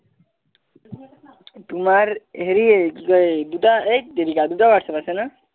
তোমাৰ হেৰি কি কয় দুটা এইট তেৰিকা দুটা ৱাত